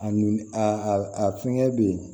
A n a a fɛngɛ bɛ yen